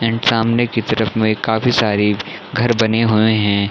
And सामने की तरफ में काफी सारी घर बने हुए है।